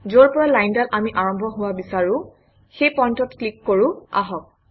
যৰ পৰা লাইনডাল আমি আৰম্ভ হোৱা বিচাৰোঁ সেই পইণ্টত ক্লিক কৰোঁ আহক